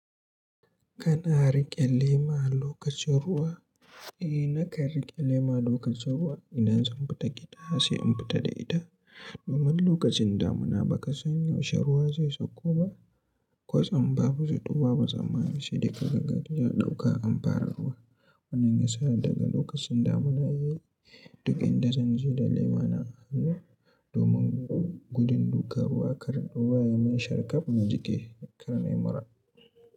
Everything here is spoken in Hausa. Kana riƙe lema lokacin ruwa? Eh nakan riƙe lema lokacin ruwa idan zan fita gida sai in fita da ita domin lokacin damuna ba ka san yaushe ruwa zai sauko ba. Kwatsam babu zato babu tsammani sai da gaggari ya ɗauka an fara ruwa. Wannan yasa daga lokacin damuna yayi duk inda zanje da lema na a hannu domin gudun duka ruwa kar ruwa ya yi min sharƙaf na jiki karanai mura.